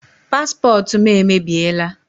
Paspọtụ m emebiela.